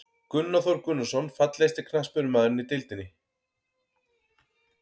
Gunnar Þór Gunnarsson Fallegasti knattspyrnumaðurinn í deildinni?